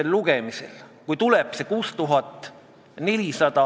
Mis puutub otsustamisse, siis ka sellega olime kõik nõus, et antud kujul eelnõu me ei toeta.